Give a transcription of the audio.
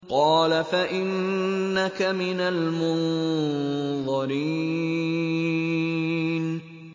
قَالَ فَإِنَّكَ مِنَ الْمُنظَرِينَ